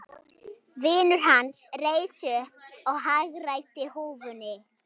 Vinur hans reis upp og hagræddi húfunni.